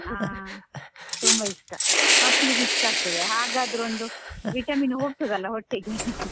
ಹಾ ತುಂಬಾ ಇಷ್ಟ ಮಕ್ಳಿಗೂ ಇಸ್ಟ್ ಆಗ್ತದೆ ಹಾಗಾದ್ರೂ ಒಂದು vitamin ಹೋಗ್ತದಲ್ಲ ಹೊಟ್ಟೆಗೆ